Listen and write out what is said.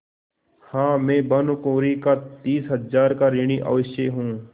हाँ मैं भानुकुँवरि का तीस हजार का ऋणी अवश्य हूँ